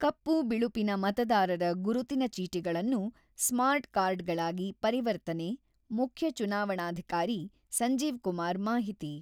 ಕಪ್ಪು-ಬಿಳುಪಿನ ಮತದಾರರ ಗುರುತಿನ ಚೀಟಿಗಳನ್ನು ಸ್ಮಾರ್ಟ್ ಕಾರ್ಡ್‌ಗಳಾಗಿ ಪರಿವರ್ತನೆ-ಮುಖ್ಯ ಚುನಾವಣಾಧಿಕಾರಿ ಸಂಜೀವ್‌ಕುಮಾರ್ ಮಾಹಿತಿ.